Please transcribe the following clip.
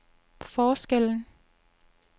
forskellen